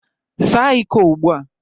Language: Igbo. Saa iko ugbu a